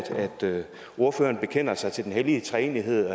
ordføreren bekender sig til den hellige treenighed